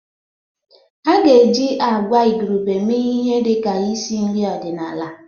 A ga-eji agwa igurube mee ihe dị ka isi nri ọdịnala.